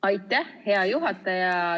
Aitäh, hea juhataja!